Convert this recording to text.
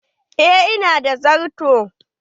Eh ina da darto.